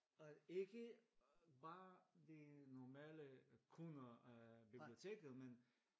Og ikke bare de normaler øh kunder biblioteket men